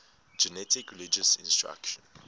generic religious instruction